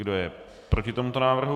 Kdo je proti tomuto návrhu?